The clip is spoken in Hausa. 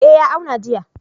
Eh ya auna jiya.